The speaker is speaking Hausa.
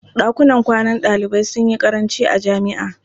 Ɗakunan kwanan ɗalibai sun yi ƙaranci a jami'a.